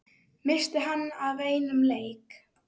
missti hann af einum leik?